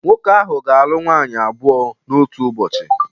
Nwoke ahụ ga-alụ nwaanyị abụọ n’otu ụbọchị